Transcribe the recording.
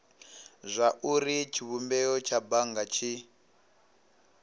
zwauri tshivhumbeo tsha bannga tshi